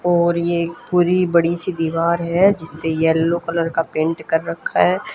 और ये एक पूरी बड़ी सी दीवार है जिसपे येलो कलर का पेंट कर रखा है।